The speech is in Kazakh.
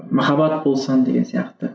махаббат болсам деген сияқты